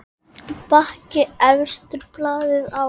Bakki efstur blaði á.